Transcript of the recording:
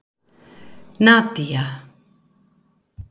Nadía